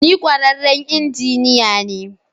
Ni kwararren injiniya ne.